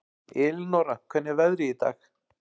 Elinóra, hvernig er veðrið í dag?